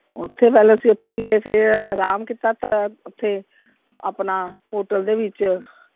ਓਥੇ ਪਹਿਲੋਂ ਅਸੀਂ ਓਥੇ ਗਏ, ਫਿਰ ਅਰਾਮ ਕੀਤਾ ਓਥੇ ਆਪਣਾ hotel ਦੇ ਵਿਚ।